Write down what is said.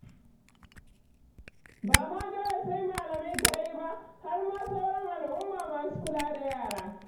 Ba ma dole sai malami kaɗai ba, har ma sauran al'umma masu kula da yara.